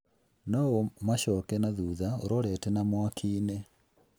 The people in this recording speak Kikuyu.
na ũmacooke na thuutha ũrorete na mwaki-inĩ.